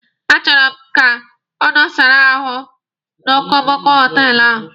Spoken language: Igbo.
A chọrọ m ka ọ nọsara ahụ n'okomoko họtelụ ahụ.